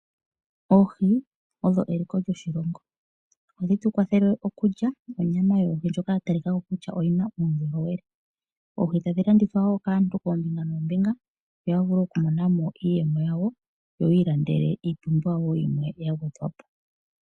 Oohii odho eliko lyoshilongo, ohadhi tukwathele okulya onyama yoohii ndjoka ya talikako kutya oyina uundjolowele, oohii tadhilandithwa wo kaantu koombinga noombinga yo oya vule oku monamo iiyemo yawo yo oyilandele ipumbiwa yimwe yangwedhwapo.